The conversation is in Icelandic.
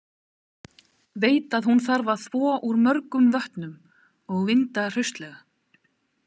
Veit að hún þarf að þvo úr mörgum vötnum og vinda hraustlega.